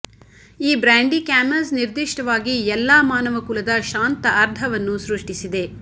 ಈ brandy Camus ನಿರ್ದಿಷ್ಟವಾಗಿ ಎಲ್ಲಾ ಮಾನವಕುಲದ ಶಾಂತ ಅರ್ಧವನ್ನು ಸೃಷ್ಟಿಸಿದೆ